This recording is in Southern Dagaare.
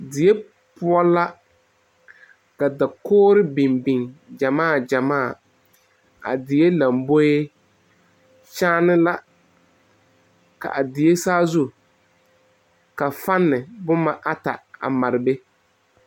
Die poɔ la ka dakogire yɛ beŋbeŋ yaga gyemaa ka dakogi kyɛne ne la ka fane ata a maare be.